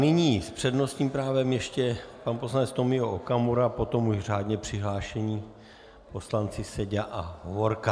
Nyní s přednostním právem ještě pan poslanec Tomio Okamura, potom už řádně přihlášení poslanci Seďa a Hovorka.